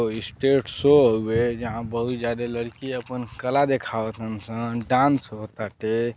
अ stage show हउवे जहाँ बहुत जादे लड़की आपन कला देखावतन सन। डांस हो ताटे।